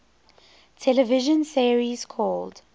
television series called